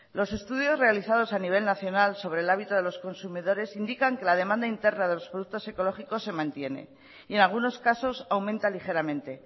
los estudios realizados a nivel nacional sobre el hábito de los consumidores indican que la demanda interna de los productos ecológicos se mantiene y en algunos casos aumenta ligeramente